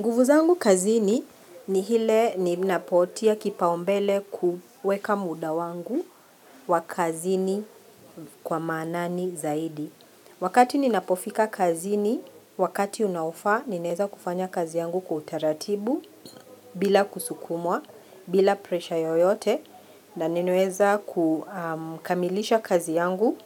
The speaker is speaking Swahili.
Nguvu zangu kazini ni ile ninapoweka kipaumbele kuweka muda wangu wa kazini kwa maanani zaidi. Ninapofika kazini kwa wakati, ninaweza kufanya kazi yangu kwa utaratibu bila kusukumwa, bila pressure yoyote. Na ninaweza kukamilisha kazi yangu